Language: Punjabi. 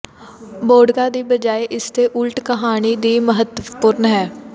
ਬੋਡਿਕਕਾ ਦੀ ਬਜਾਏ ਇਸਦੇ ਉਲਟ ਕਹਾਣੀ ਵੀ ਮਹੱਤਵਪੂਰਣ ਹੈ